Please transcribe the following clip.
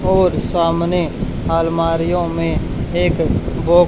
और सामने अलमारियों में एक बॉक--